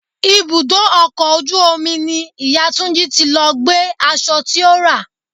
Ibùdó ọkọ̀ ojú omi ni ìyá Túnjí tí lọ gbé aṣọ tí ó rà.